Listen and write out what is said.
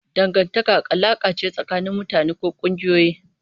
Dangantaka alaƙa ce tsakanin mutane ko ƙungiyoyi.